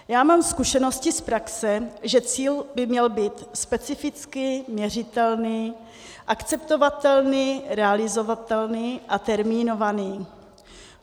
Já mám zkušenosti z praxe, že cíl by měl být specifický, měřitelný, akceptovatelný, realizovatelný a termínovaný.